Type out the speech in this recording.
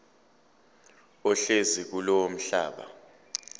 ohlezi kulowo mhlaba